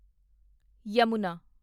Yamuna